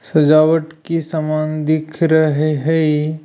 सजावट की समान दिख रहे है।